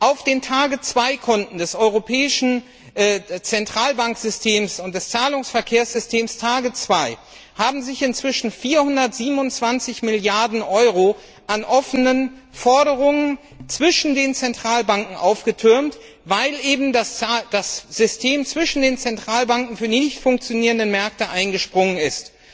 Auf den Konten des Europäischen Zentralbanksystems und des Zahlungsverkehrssystems TARGET2 sind inzwischen 427 Milliarden Euro an offenen Forderungen zwischen den Zentralbanken aufgelaufen, weil das System zwischen den Zentralbanken für die nichtfunktionierenden Märkte eingesprungen ist.